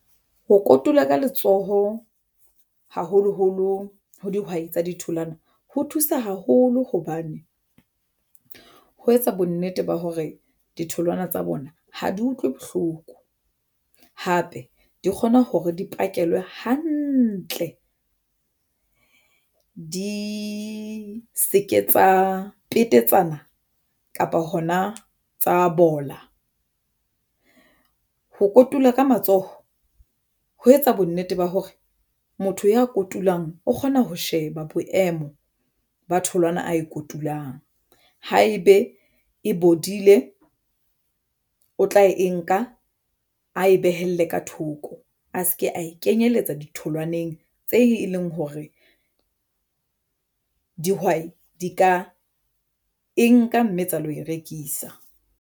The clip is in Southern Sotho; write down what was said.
Ho kotula ka letsoho haholoholo ho dihwai tsa ditholwana ho thusa haholo hobane ho etsa bonnete ba hore ditholwana tsa bona ha di utlwe bohloko hape di kgona hore di pakelwa hantle di se ke tsa petetsana kapa hona tsa bola. Ho kotula ka matsoho ho etsa bonnete ba hore motho ya kotulang o kgona ho sheba boemo ba tholwana a e kotulang. Haebe e bodile o tla e nka a e behele ka thoko. A se ke a ikenyelletsa ditholwaneng tse e leng hore dihwai di ka e nka mme tsa lo e rekisa.